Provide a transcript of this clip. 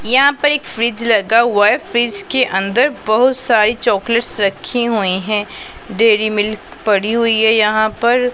यहां पर एक फ्रिज रखा हुआ है फ्रिज के अंदर बहुत सारे चॉकलेट्स रखी हुई है डेयरी मिल्क पड़ी हुई है यहां पर --